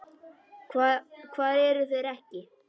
Hvar eru þeir ekki?